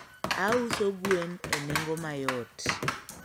Auso gwen e nengo mayot